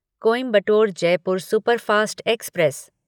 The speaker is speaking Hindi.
Coimbatore Jaipur superfast express